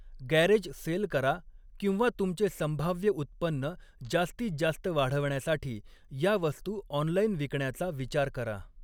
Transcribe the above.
Garage sale करा किंवा तुमचे संभाव्य उत्पन्न जास्तीत जास्त वाढवण्यासाठी या वस्तू ऑनलाइन विकण्याचा विचार करा.